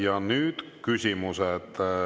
Ja nüüd küsimused.